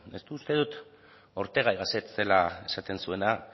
uste dut ortega y gasset zela esaten zuena